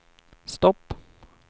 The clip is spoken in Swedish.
stopp